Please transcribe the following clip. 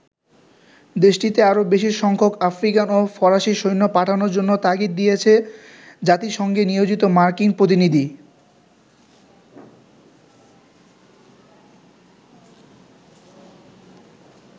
দেশটিতে আরো বেশি সংখ্যক আফ্রিকান ও ফরাসী সৈন্য পাঠানোর জন্য তাগিদ দিয়েছেন জাতিসংঘে নিয়োজিত মার্কিন প্রতিনিধি।